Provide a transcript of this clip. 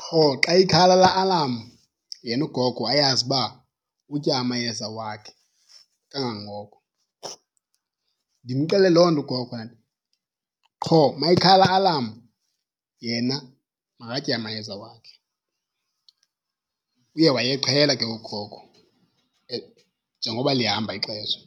qho xa ikhala laa alarm yena ugogo ayazi uba utya amayeza wakhe kangangoko. Ndimxelele loo nto gogo qho uma ikhala laa alarm yena makatye amayeza wakhe. Uye waye eqhela ke ngoku ugogo njengoba lihamba ixesha.